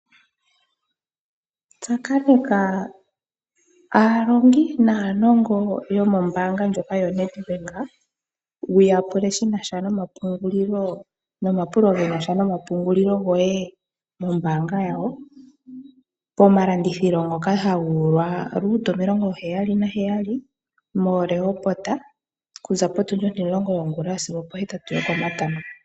Tsakaneka aalongi naanongongo yomombanga lyono yoNedbank wuya pule shinasha nomapungulilo goye mombanga yawo pomalandithilo ngoka haga ulwa Root 77 mo Rehoboth kuza potundi 10 yongula sigo opo 8 yokomatango.